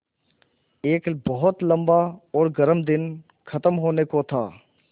एक बहुत लम्बा और गर्म दिन ख़त्म होने को था